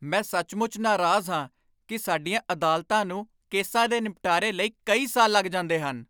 ਮੈਂ ਸੱਚਮੁੱਚ ਨਾਰਾਜ਼ ਹਾਂ ਕਿ ਸਾਡੀਆਂ ਅਦਾਲਤਾਂ ਨੂੰ ਕੇਸਾਂ ਦੇ ਨਿਪਟਾਰੇ ਲਈ ਕਈ ਸਾਲ ਲੱਗ ਜਾਂਦੇ ਹਨ।